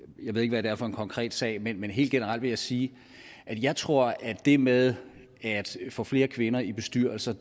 jeg ved ikke hvad det er for en konkret sag men helt generelt vil jeg sige at jeg tror at det med at få flere kvinder i bestyrelser